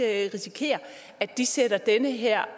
risikere at de sætter den her